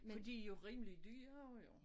Men de jo rimelig dyre jo